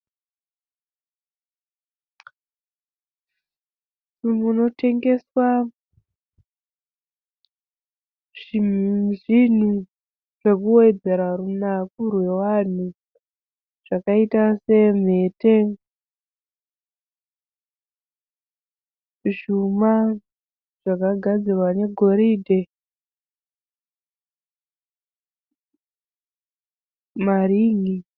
Munotengeswa zvinhu zvekuwedzera runako rwevanhu zvakaita semhete, zvuma zvakagadzirwa negoridhe maringi.